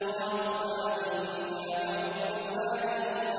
قَالُوا آمَنَّا بِرَبِّ الْعَالَمِينَ